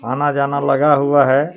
आना जाना लगा हुआ है.